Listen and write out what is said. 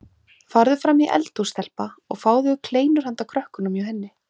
Farðu fram í eldhús stelpa og fáðu kleinur handa krökkunum hjá henni